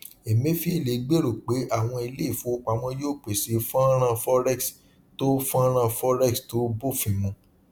emefiele gbèrò pé àwọn ilé ìfowópamọ yóò pèsè fọnrán forex tó fọnrán forex tó bófin mu